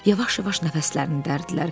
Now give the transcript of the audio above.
Yavaş-yavaş nəfəslərini dərirdilər.